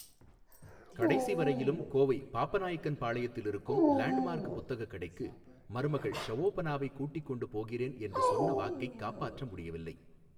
கடைசிவரையிலும் கோவை பாப்பநாய்க்கன்பாளையத்திலிருக்கும் Landmark புத்தகக் கடைக்கு மருமகள் ஷஓபனாவைக் கூட்டிக் கொண்டு போகிறேன் என்று சொன்ன வாக்கைக் காப்பாற்ற முடியவில்லை.